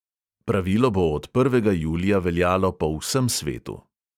Pravilo bo od prvega julija veljalo po vsem svetu.